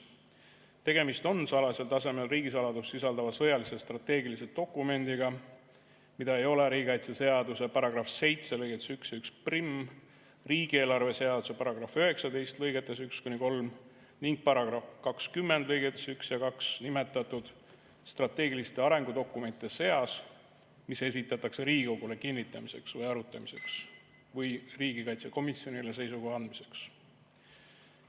Tegemist on salajasel tasemel riigisaladust sisaldava sõjalise strateegilise dokumendiga, mida ei ole riigikaitseseaduse § 7 lõigetes 1 ja 11, riigieelarve seaduse § 19 lõigetes 1–3 ning § 20 lõigetes 1 ja 2 nimetatud strateegiliste arengudokumentide seas, mis esitatakse Riigikogule kinnitamiseks või arutamiseks või riigikaitsekomisjonile seisukoha andmiseks.